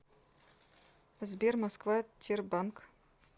сбер москва тербанк